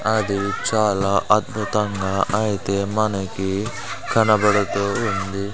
అది చాలా అద్భుతంగా ఐతే మనకి కనబడుతోంది.